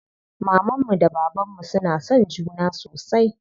Mamanmu da bababnmu suna son juna sosai.